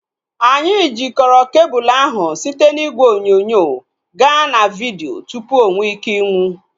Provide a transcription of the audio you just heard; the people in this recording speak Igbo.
Anyị jikọrọ kebul ahu site n'igwe onyonyo gaa na vidio tupu onweike ịnwụ